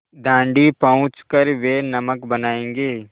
दाँडी पहुँच कर वे नमक बनायेंगे